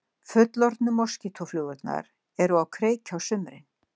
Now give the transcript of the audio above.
Fullorðnu moskítóflugurnar eru á kreiki á sumrin.